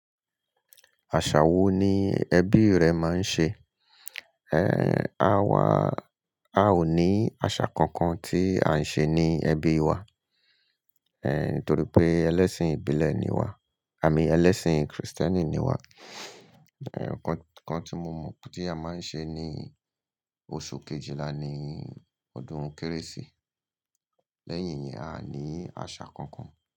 Àṣà wo ni ẹbí rẹ máa ń ṣe? Ehn, àwa, a ò ní àṣà kankan tí à ń ṣe ní ẹbí wa. Ehn, nítorí pé ẹlẹ́sìn ìbílẹ̀ ni wá, àmín ẹlẹ́sìn krìstẹ́nì ni wá. Ehn, nnkan tí mo mọ pé a máa ń ṣe ni oṣù Kejìlá ni ọdún Kérésì. Lẹ́yìn yẹn, a ní àṣà kankan.